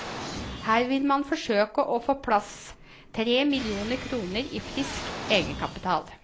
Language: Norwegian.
Her vil man forsøke å få på plass tre millioner kroner i frisk egenkapital.